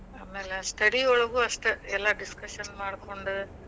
ಆಮ್ಯಾಲ study ಒಳಗೂ ಅಷ್ಟ ನಾವ್ ಎಲ್ಲಾ discuss ಮಾಡ್ಕೊಂಡು,